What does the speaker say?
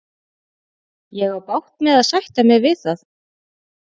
Ég á bágt með að sætta mig við það.